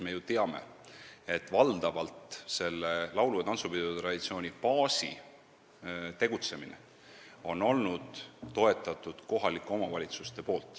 Me ju teame, et valdavalt on laulu- ja tantsupidude traditsiooni n-ö baasi tegutsemist toetanud kohalikud omavalitsused.